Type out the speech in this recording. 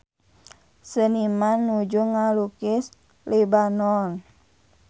Seniman nuju ngalukis Lebanon